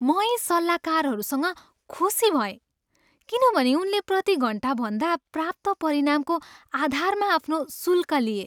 म यी सल्लाहकारसँग खुसी भएँ किनभने उनले प्रतिघन्टाभन्दा प्राप्त परिणामको आधारमा आफ्नो शुल्क लिए।